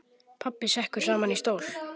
Pabbi sekkur saman í stól.